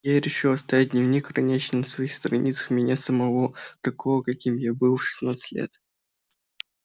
и я решил оставить дневник хранящий на своих страницах меня самого такого каким я был в шестнадцать лет